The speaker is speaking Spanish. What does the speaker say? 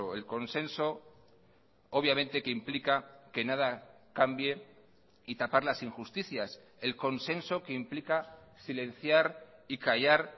el consenso obviamente que implica que nada cambie y tapar las injusticias el consenso que implica silenciar y callar